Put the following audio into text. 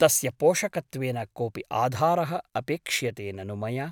तस्य पोषकत्वेन कोऽपि आधारः अपेक्ष्यते ननु मया ?